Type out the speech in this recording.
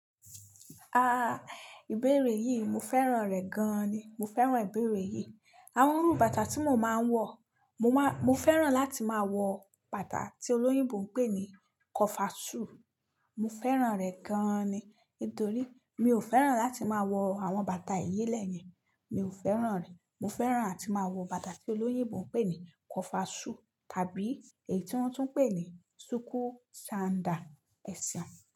Ah, ìbéèrè yìí mo fẹ́ràn rẹ̀ gan ni. Mo fẹ́ràn ìbéèrè yìí. Àwọn irú bàtà tí mo máa ń wọ̀, mo máa, mo fẹ́ràn láti máa wọ bàtà tí olóyìnbo ń pè ní kọfasù. Mo fẹ́ràn rẹ̀ gan ni. Nítorí mi ò fẹ́ràn láti máa wọ àwọn bàtà ìyílẹ̀ yẹn, mi ò fẹ́ràn rẹ̀. Mo fẹ́ràn ati máa wọ bàtà tí olóyìnbo ń pè ní kọfa sùu tàbí èyí tí wọ́n tún ń pè ní súkú ṣándà. E seun.